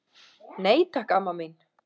Nei, takk, amma mín.